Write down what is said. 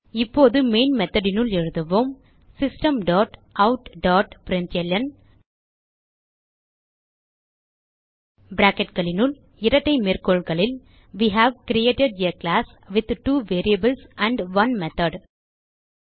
இப்போது மெயின் methodனுள் எழுதுவோம் system dot out dot println bracketகளினுள் இரட்டை மேற்கோள்களில் we have created a class with two variables and 1 method